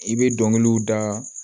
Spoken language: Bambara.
I bɛ dɔnkiliw da